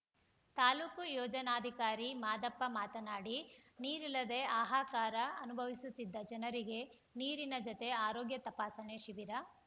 ತಾಲೂಕು ಯೋಜನಾಧಿಕಾರಿ ಮಾದಪ್ಪ ಮಾತನಾಡಿ ನೀರಿಲ್ಲದೆ ಹಾಹಾಕಾರ ಅನುಭವಿಸುತ್ತಿದ್ದ ಜನರಿಗೆ ನೀರಿನ ಜತೆ ಆರೋಗ್ಯ ತಪಾಸಣೆ ಶಿಬಿರ